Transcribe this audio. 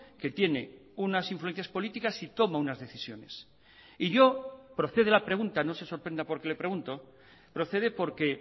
que tiene unas influencias políticas y toma unas decisiones y yo procede la pregunta no se sorprenda porque le pregunto procede porque